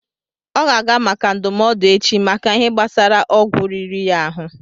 Ọ ga-aga maka ndụmọdụ echi, maka Ihe gbásara ọgwụ riri ya ahụ